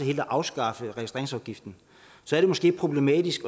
helt at afskaffe registreringsafgiften er det måske problematisk